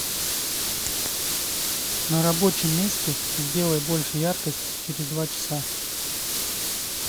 на рабочем месте сделай больше яркость через два часа